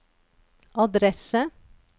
adresse